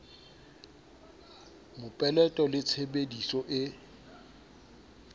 mopeleto le tshebe diso e